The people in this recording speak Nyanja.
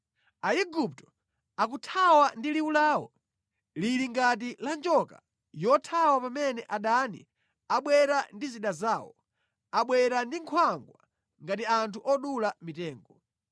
Aigupto akuthawa ndi liwu lawo lili ngati la njoka yothawa pamene adani abwera ndi zida zawo, abwera ndi nkhwangwa ngati anthu odula mitengo.